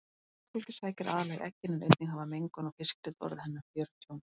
Mannfólkið sækir aðallega í eggin en einnig hafa mengun og fiskinet orðið henni að fjörtjóni.